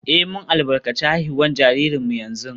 Eh, mun albarkaci haihuwar jaririnmu yanzu